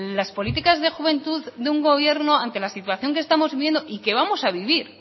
las políticas de juventud de un gobierno ante la situación que estamos viviendo y que vamos a vivir